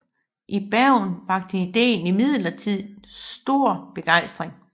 I Bergen vakte idéen imidlertid stor begejstring